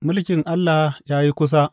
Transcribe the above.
Mulkin Allah ya yi kusa.